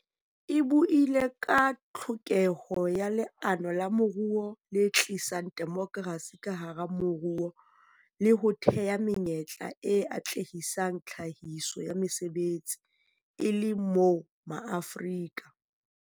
E buile ka tlhokeho ya leano la moruo le tlisang demokrasi ka hara moruo le ho thea menyetla e atlehisang tlhahiso ya mesebetsi, e le moo Maafrika.